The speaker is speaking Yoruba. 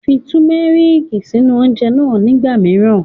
Fi Tùmẹ́rìkì sínú oúnjẹ náà nígbà míràn